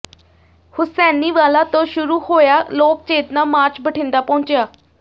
ਹੁਸੈਨੀਵਾਲਾ ਤੋਂ ਸ਼ੁਰੂ ਹੋਇਆ ਲੋਕ ਚੇਤਨਾ ਮਾਰਚ ਬਠਿੰਡਾ ਪਹੁੰਚਿਆ